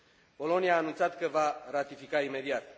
Polonia a anunțat că va ratifica imediat.